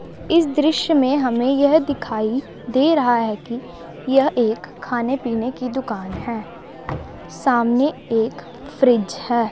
इस दृश्य में हमें यह दिखाई दे रहा है कि यह एक खाने पीने की दुकान है सामने एक फ्रिज है।